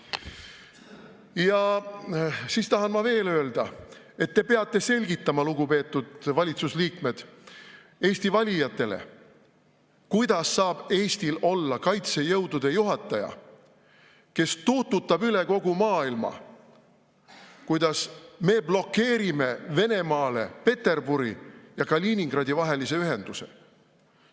Ja siis tahan ma veel öelda, et te peate selgitama, lugupeetud valitsusliikmed, Eesti valijatele, kuidas saab Eestil olla kaitsejõudude juhataja, kes tuututab üle kogu maailma, et me blokeerime Venemaale Peterburi ja Kaliningradi vahelise ühenduse.